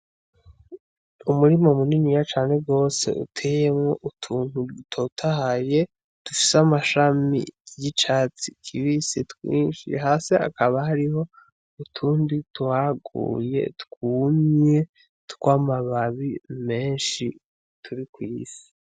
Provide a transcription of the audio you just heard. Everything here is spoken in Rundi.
Umurima muniniya cane gose uteyemwo utuntu dutotahaye dufise amashami y'icatsi kibisi twinshi hasi hakaba hariho utundi twaguye twumye twamababi menshi turi kw'isi.